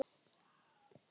Málið sé stærra en svo.